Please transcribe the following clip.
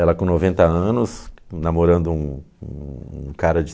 Ela com noventa anos, namorando um um cara de